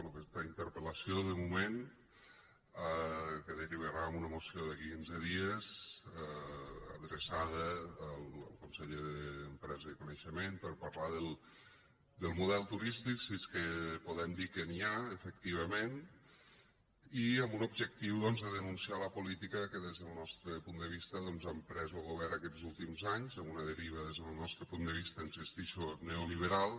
bé aquesta interpel·lació de moment que derivarà en una moció d’aquí a quinze dies adreçada al conseller d’empresa i coneixement per parlar del model turístic si és que podem dir que n’hi ha efectivament i amb un objectiu doncs de denunciar la política que des del nostre punt de vista ha emprès lo govern aquests últims anys amb una deriva des del nostre punt de vista hi insistixo neoliberal